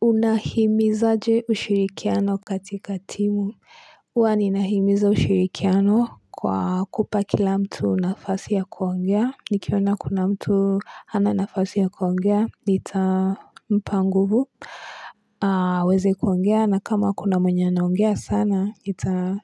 Unahimizaje ushirikiano katika timu huwa ninahimiza ushirikiano kwa kupa kila mtu nafasi ya kuongea nikiona kuna mtu hana nafasi ya kuongea nitampa nguvu waeze kuongea na kama kuna mwenye anaongea sana ita